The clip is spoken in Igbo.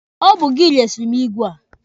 Ọ bụ gị resiri m igwe a.